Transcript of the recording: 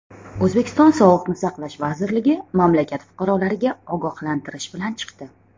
O‘zbekiston Sog‘liqni saqlash vazirligi mamlakat fuqarolariga ogohlantirish bilan chiqdi .